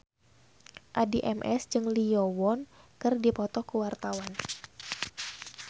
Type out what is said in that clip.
Addie MS jeung Lee Yo Won keur dipoto ku wartawan